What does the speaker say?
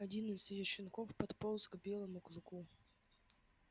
один из её щенков подполз к белому клыку